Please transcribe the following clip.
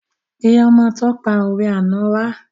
Pé ọmọ tó pa òwe àná wa